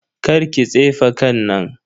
Karki tsefe kan nan.